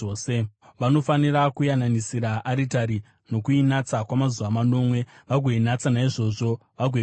Vanofanira kuyananisira aritari nokuinatsa kwamazuva manomwe vagoinatsa; naizvozvo vagoikumikidza.